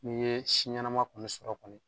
N'i ye si ɲɛnɛma kɔni sɔrɔ kɔni.